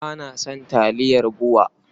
Ba na son taliyar BUA.